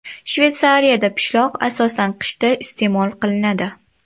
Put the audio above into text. Shveysariyada pishloq asosan qishda iste’mol qilinadi.